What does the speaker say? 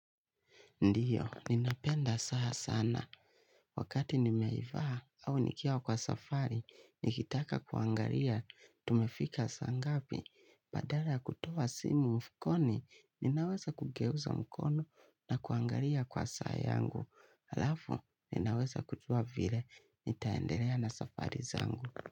Ndiyo, ninapenda saa sana, wakati nimeivaa au nikiwa kwa safari, nikitaka kuangalia, tumefika saa ngapi, badala kutoa simu mfukoni, ninaweza kugeuza mkono na kuangalia kwa saa yangu, halafu, ninaweza kujua vile, nitaendelea na safari zangu.